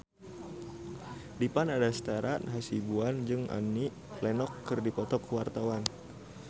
Dipa Nandastyra Hasibuan jeung Annie Lenox keur dipoto ku wartawan